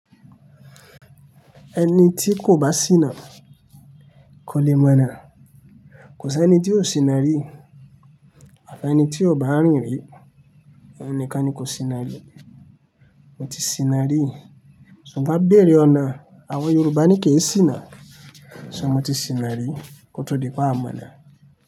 Ẹni tí kò bá ṣíná kò le mọ̀ ọ́nà. Kò sí ẹni tí ó ṣíná rí. Àfí ẹni tí ó bá rìn rí, oun nikan ni kò ṣíná rí. Mo ti ṣíná rí. Ṣugbon béèrè ọ̀nà, àwọn Yorùbá ni kí ẹ ṣíná. Ṣé mọ tí ṣíná rí? Kò tó dípe ámọ̀nà.